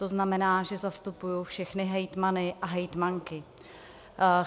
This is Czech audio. To znamená, že zastupuji všechny hejtmany a hejtmanky.